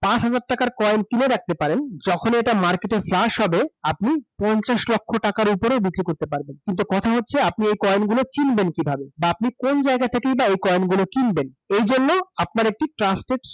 পাঁচ হাজার টাকার কইন কিনে রাখতে পারেন । যখন এটা মার্কেট এ ফ্লুশ হবে, আপনি পঞ্চাশ লক্ষ টাকার উপরে বিক্রি করতে পারবেন । কিন্তু কথা হচ্ছে, আপনি এই কইন গুলো কিনবেন কিভাবে বা আপনি কন জায়গা থেকেই বা এই কয়েন গুলো কিনবেন? এই জন্য আপনার একটি ত্রান্সপরত